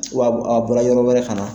a bɔra yɔrɔ wɛrɛ ka na